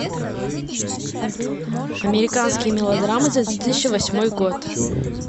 американские мелодрамы за две тысячи восьмой год